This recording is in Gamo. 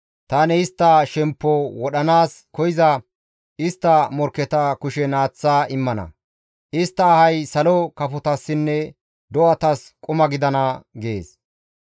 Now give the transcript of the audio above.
tani istta shemppo wodhanaas koyza istta morkketa kushen aaththa immana; istta ahay salo kafotassinne do7atas quma gidana» gees.